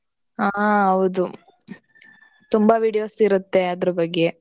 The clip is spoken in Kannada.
ಹಾ ಹೌದು. ತುಂಬಾ videos ಇರತ್ತೆ ಅದ್ರ ಬಗ್ಗೆ.